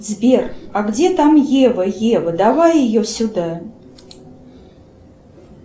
сбер а где там ева ева давай ее сюда